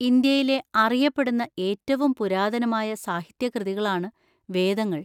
ഇന്ത്യയിലെ അറിയപ്പെടുന്ന ഏറ്റവും പുരാതനമായ സാഹിത്യകൃതികളാണ് വേദങ്ങൾ.